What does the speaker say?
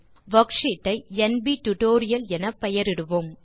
worksheet ஐ NP tutorial என பெயரிடுவோம்